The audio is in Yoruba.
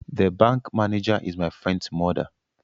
The bank manager is my friend's mother